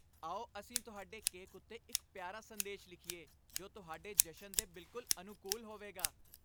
ਆਓ ਅਸੀਂ ਤੁਹਾਡੇ ਕੇਕ ਉੱਤੇ ਇੱਕ ਪਿਆਰਾ ਸੰਦੇਸ਼ ਲਿਖੀਏ, ਜੋ ਤੁਹਾਡੇ ਜਸ਼ਨ ਦੇ ਬਿਲਕੁਲ ਅਨੁਕੂਲ ਹੋਵੇਗਾ।